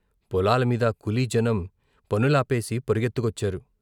పొలాల మీద కూలిజనం పనులా వేసి పరుగెత్తుకొచ్చారు.